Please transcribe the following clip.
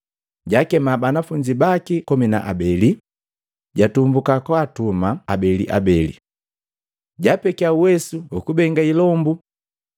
Jakema banafunzi baki komi na abeli, jatumbuka katuma habelihabeli. Japekiya uwesu ukubenga ilombu,